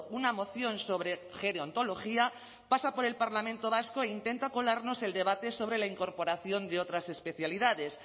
una moción sobre gerontología pasa por el parlamento vasco e intenta colarnos el debate sobre la incorporación de otras especialidades